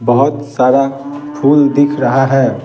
बहुत सारा फूल दिख रहा है ।